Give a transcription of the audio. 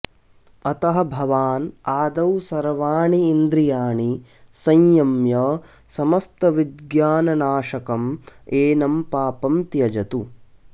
अतः भवान् आदौ सर्वाणि इन्द्रियाणि संयम्य समस्तविज्ञाननाशकम् एनं पापं त्यजतु